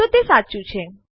તો તે સાચું છે